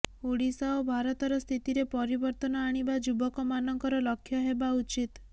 ଓଡ଼ିଶା ଓ ଭାରତର ସ୍ଥିତିରେ ପରିବର୍ତନ ଆଣିବା ଯୁବକମାନଙ୍କର ଲକ୍ଷ୍ୟ ହେବା ଉଚିତ୍